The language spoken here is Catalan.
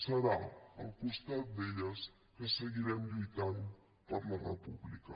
serà al costat d’elles que seguirem lluitant per la república